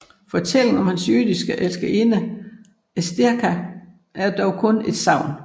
Fortællingen om hans jødiske elskerinde Estherka er dog kun et sagn